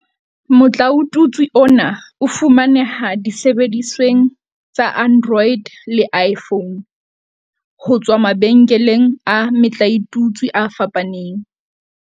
Motlaotutswe ona o fumaneha disebedisweng tsa Android le iPhone, ho tswa mabenkeleng a metlaotutswe a fapaneng.